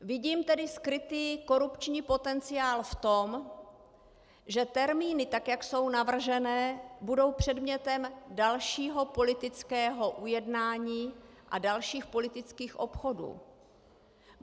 Vidím tedy skrytý korupční potenciál v tom, že termíny, tak jak jsou navržené, budou předmětem dalšího politického ujednání a dalších politických obchodů.